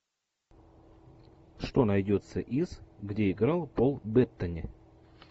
что найдется из где играл пол беттани